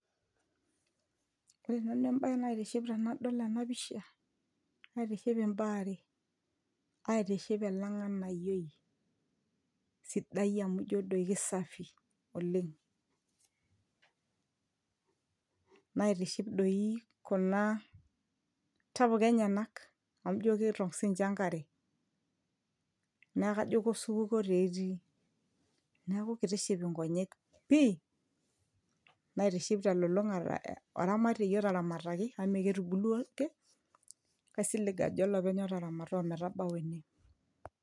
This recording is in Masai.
ore nanu embaye naitiship tenadol ena pisha aitiship imbaa are aitiship ele ng'anayioi sidai amu ijio doi kisafi oleng naitiship doi kuna tapuka enyenak amu ijio kiitong sininche enkare neeku kajo kosupuko taa etii neeku kitiship inkonyek pii naitiship telulung'ata oramatiei otaramataki amu mee ketubulua ake kaisilig ajo olopeny otaramata ometabau ene.